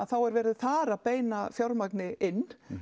er verið þar að beina fjármagni inn